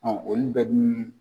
olu bɛɛ dun